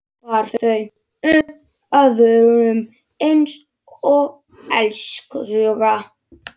Bar þau upp að vörunum einsog elskhuga.